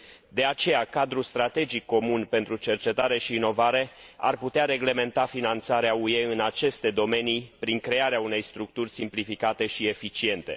De aceea, Cadrul strategic comun pentru cercetare și inovare ar putea reglementa finanțarea UE în aceste domenii prin crearea unei structuri simplificate și eficiente.